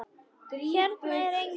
Hérna er enginn.